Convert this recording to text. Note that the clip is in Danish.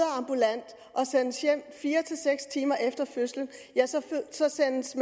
at og sendes hjem fire seks timer efter fødslen sendes